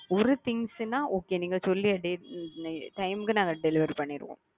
ஒரு things னா okay நீங்க சொல்லிய date time deliver பண்ணிருவோம்.